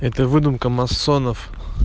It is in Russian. это выдумка масонов